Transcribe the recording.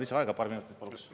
Lisaaega paar minutit, paluks.